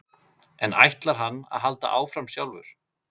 En ætlar hann að halda áfram sjálfur?